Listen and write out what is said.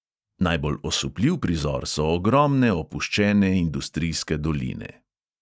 Najbolj osupljiv prizor so ogromne opuščene industrijske doline.